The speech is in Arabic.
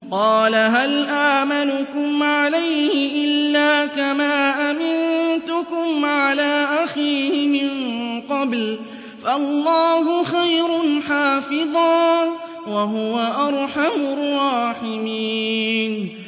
قَالَ هَلْ آمَنُكُمْ عَلَيْهِ إِلَّا كَمَا أَمِنتُكُمْ عَلَىٰ أَخِيهِ مِن قَبْلُ ۖ فَاللَّهُ خَيْرٌ حَافِظًا ۖ وَهُوَ أَرْحَمُ الرَّاحِمِينَ